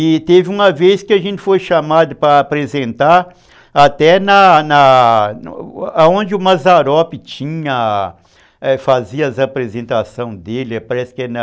E teve uma vez que a gente foi chamado para apresentar até na na onde o Mazzaropi fazia as apresentações dele, parece que é na...